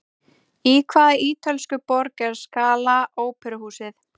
Í hvaða ítölsku borg er Scala óperuhúsið?